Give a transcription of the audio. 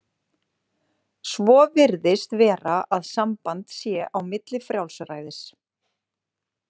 Svo virðist vera að samband sé á milli frjálsræðis.